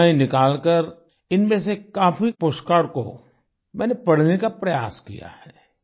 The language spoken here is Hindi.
समय निकालकर इनमें से काफी पोस्ट कार्ड को मैंने पढ़ने का प्रयास किया है